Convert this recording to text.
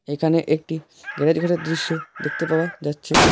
এখানে একটি গ্যারেজ ঘরের দৃশ্য দেখতে পাওয়া যাচ্ছে।